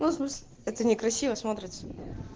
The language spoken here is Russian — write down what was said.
ну в смысле это некрасиво смотрится